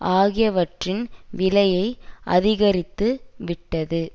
ஆகியவற்றின் விலையை அதிகரித்து விட்டது